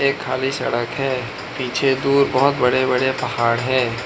ये खाली सड़क है पीछे दूर बहुत बड़े बड़े पहाड़ है।